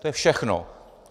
To je všechno.